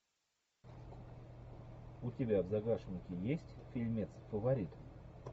у тебя в загашнике есть фильмец фаворит